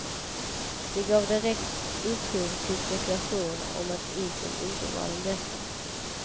Det gav direkt upphov till spekulationer om att isen inte var den bästa.